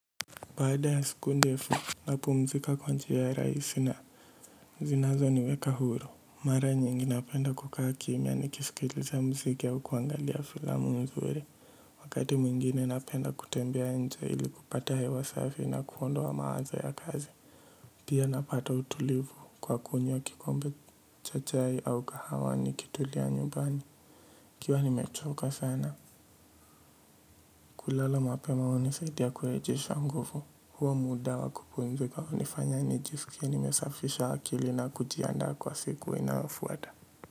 Baada ya siku ndefu napumzika kwa njia ya rahisi na zinazo niweka huru mara nyingi napenda kukaa kimya nikiskiliza mziki au kuangalia filamu nzuri wakati mwingine napenda kutembea nje ili kupata hewa safi na kuondoa mawazo ya kazi pia napata utulivu kwa kunywa kikombe cha chai au kahawa nikitulia nyumbani ikiwa nimechoka sana. Kulala mapema hunisidia kurejesha nguvu. Huwa muda wa kupumzika hunifanya nijisikie nimesafisha akili na kujiandaa kwa siku inayofuata.